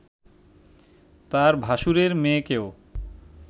তার ভাসুরের মেয়েকেও